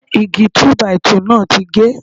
Igi Túbàìtuù náà ti ge.